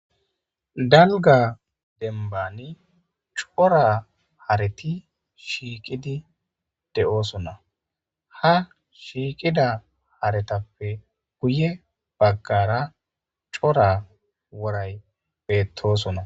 Dalga dembani cora hareti shiiqidi de'osona ha shiiqida haretape guye bagara cora woray beetosona.